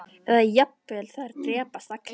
Eða jafnvel að þær drepist allar